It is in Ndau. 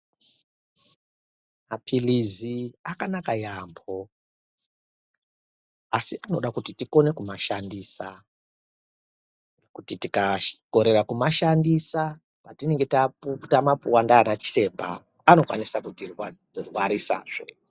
Mapilizi akanaka yaamho, asi tinoda kuti tikone kumashandisa, kuti tikakorere kuashandisa patinenge taapuwa ndiana chiremba anokone kuti rwarisazve.